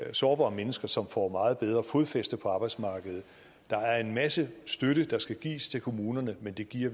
af sårbare mennesker som får meget bedre fodfæste på arbejdsmarkedet der er en masse støtte der skal gives til kommunerne men den giver